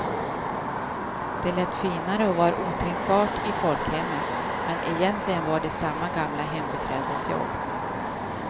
Det lät finare och var otänkbart i folkhemmet, men egentligen var det samma gamla hembiträdesjobb.